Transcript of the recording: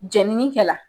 Jenini kɛ la